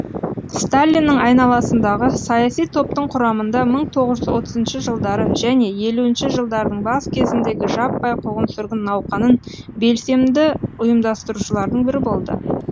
сталиннің айналасындағы саяси топтың құрамында мың тоғыз отызыншы жылдары және елуінші жылдардың бас кезіндегі жаппай қуғын сүргін науқанын белсенді ұйымдастырушылардың бірі болды